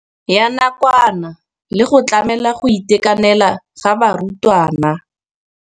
Ya nakwana le go tlamela go itekanela ga barutwana.